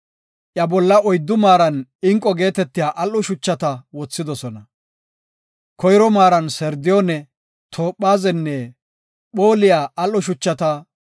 Iya bolla oyddu maaran inqo geetetiya al7o shuchata wothidosona. Koyro maaran sardiyoone, toophazenne phooliya al7o shuchata;